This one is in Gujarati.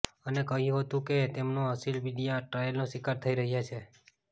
અને કહ્યું હતું ક તેમનો અસીલ મીડિયા ટ્રાયલનો શિકાર થઈ રહ્યાં છે